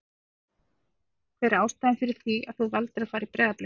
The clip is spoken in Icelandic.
Hver er ástæðan fyrir því að þú valdir að fara í Breiðablik?